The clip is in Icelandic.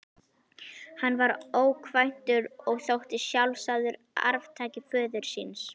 Hann var ókvæntur og þótti sjálfsagður arftaki föður síns.